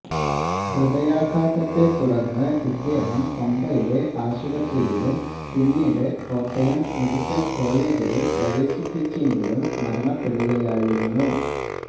ഹൃദയാഘാതത്തെത്തുടര്ന്ന് ഇദ്ദേഹത്തെ പമ്പയിലെ ആശുപത്രിയിലും പിന്നീട് കോട്ടയം മെഡിക്കല് കോളജിലും പ്രവേശിപ്പിച്ചെങ്കിലും മരണപ്പെടുകയായിരുന്നു